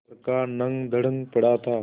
लड़का नंगधड़ंग पड़ा था